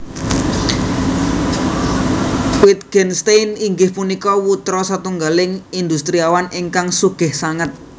Wittgenstein inggih punika putra satunggaling industriawan ingkang sugih sanget